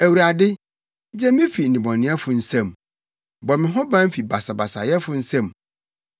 Awurade, gye me fi nnebɔneyɛfo nsam; bɔ me ho ban fi basabasayɛfo nsam,